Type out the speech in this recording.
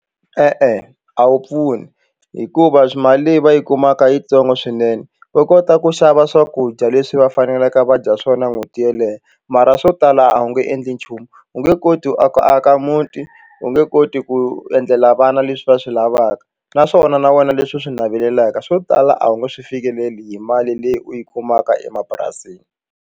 E-e, a wu pfuni hikuva swi mali leyi va yi kumaka yitsongo swinene va kota ku xava swakudya leswi va faneleke va dya swona n'hweti yeleyo mara swo tala a wu nge endli nchumu u nge koti ku aka muti u nge koti ku endlela vana leswi va swi lavaka naswona na wena leswi u swi navelelaka swo tala a wu nge swi fikeleli hi mali leyi u yi kumaka emapurasini.